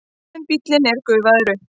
En bíllinn er gufaður upp.